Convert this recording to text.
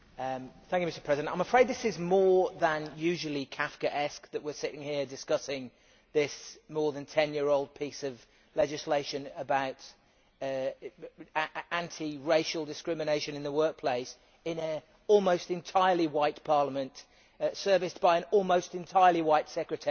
Mr President, I am afraid this is more than usually Kafkaesque that we are sitting here, discussing this more than ten year old piece of legislation about anti racial discrimination in the workplace, in an almost entirely white Parliament serviced by an almost entirely white Secretariat,